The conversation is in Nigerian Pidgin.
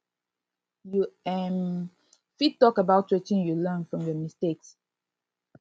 you um fit talk about wetin you learn from your mistakes